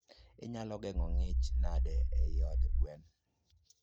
Inyalo geng'o ngich nade eiy od gwen?